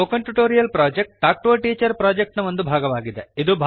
spoken tutorial project talk to a teacher project ನ ಒಂದು ಭಾಗ